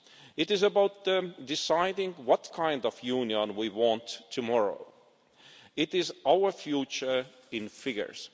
It is about deciding what kind of Union we want tomorrow. It is our future in figures.